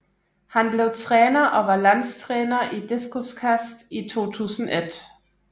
Han blev træner og var landstræner i diskoskast i 2001